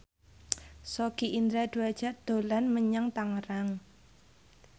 Sogi Indra Duaja dolan menyang Tangerang